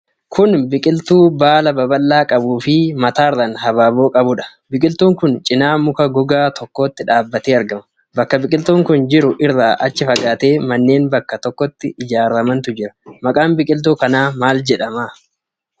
Kun biqiltuu baala babal'aa qabuu fi mataarraan habaaboo qabudha. biqiltuu kana cinaa muka gogaa tokkotu dhaabatee argama. Bakka biqiltuun kun jiru irraa achi fagaateee manneen bakka tokkotti ijaaramantu jira. maqaan biqiltuu kanaa maal jedhama?